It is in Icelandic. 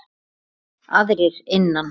Aðrir innan